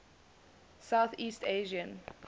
south east asian